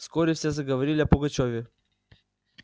вскоре все заговорили о пугачёве